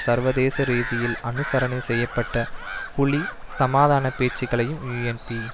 சர்வதேச ரீதியில் அனுசரணை செய்ய பட்ட புலி சமாதான பேச்சுக்களையும் யூஎன்பி